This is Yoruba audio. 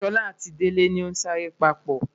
Sola ati Dele ni sa re papo